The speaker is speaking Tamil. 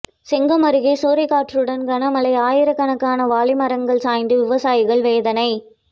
செங்கம் அருகே சூறைக்காற்றுடன் கனமழை ஆயிரக்கணக்கான வாழை மரங்கள் சாய்ந்தது விவசாயிகள் வேதனை